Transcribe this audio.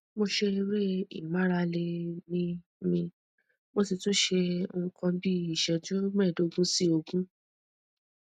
mo ṣe eré ìmárale míímí mo sì tún ṣe nǹkan bí iṣẹju mẹẹẹdógún sí ogún